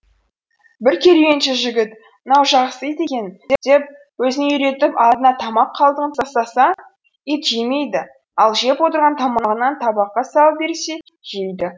бір керуенші жігіт мынау жақсы ит екен деп өзіне үйретіп алдына тамақ қалдығын тастаса ит жемейді ал жеп отырған тамағынан табаққа салып берсе жейді